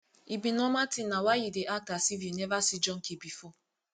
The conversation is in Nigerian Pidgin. e be normal thing na why you dey act as if you never see junkie before